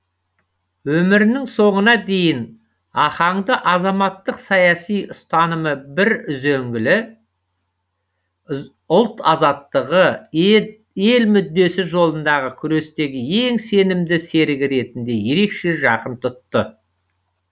өмірінің соңына дейін ахаңды азаматтық саяси ұстанымы бір үзеңгілі ұлт азаттығы ел мүддесі жолындағы күрестегі ең сенімді серігі ретінде ерекше жақын тұтты